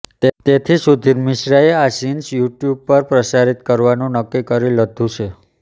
તેથી સુધીર મિશ્રાએ આ સીન્સ યુટ્યુબ પર પ્રસારિત કરવાનું નક્કી કરી લધું છે